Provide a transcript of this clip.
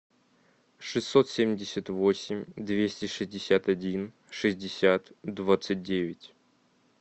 шестьсот семьдесят восемь двести шестьдесят один шестьдесят двадцать девять